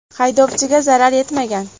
Haydovchiga zarar yetmagan.